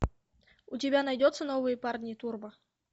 у тебя найдется новые парни турбо